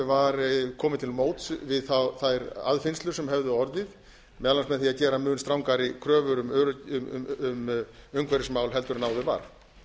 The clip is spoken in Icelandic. var komið til móts við þær aðfinnslur sem höfðu orðið meðal annars með því að gera mun strangari kröfur um umhverfismál en áður var